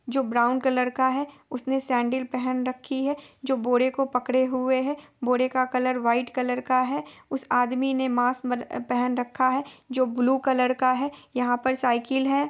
जो brown colour का है उसने सैंडल पहन रखी है जो बोरे को पकड़े हुए है| बोरे का कलर व्हाइट कलर का है| उस आदमी ने मास्क म पहन रखा है जो ब्लू कलर का है| यहाँ पर साइकिल है।